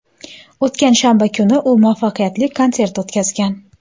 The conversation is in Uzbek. O‘tgan shanba kuni u muvaffaqiyatli konsert o‘tkazgan.